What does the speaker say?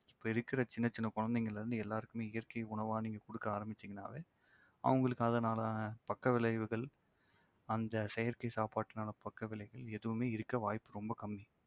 இப்ப இருக்கிற சின்ன சின்ன குழந்தைங்கள்ல இருந்து எல்லாருக்குமே இயற்கை உணவா நீங்க கொடுக்க ஆரம்பிச்சீங்கன்னாவே அவங்களுக்கு அதனால பக்க விளைவுகள் அந்த செயற்கை சாப்பாட்டுக்கான பக்க விளைவுகள் எதுவுமே இருக்க வாய்ப்பு ரொம்ப கம்மி